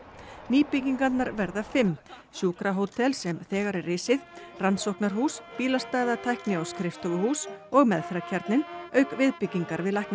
nýbyggingarnar verða fimm sjúkrahótel sem þegar er risið rannsóknarhús bílastæða tækni og skrifstofuhús og meðferðarkjarninn auk viðbyggingar við